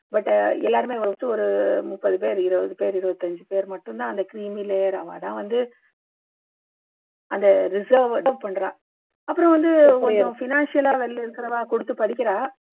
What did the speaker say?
but எல்லாருமே first ஒரு முப்பது பேர் இருவது பேர் இருவத்தஞ்சு பேர் மட்டும் தான் creamy layer அவா தான் வந்து அந்த பண்றா அப்பறம் வந்து கொஞ்சம் financial ஆ இருக்குறவா கொடுத்து படிக்கிறா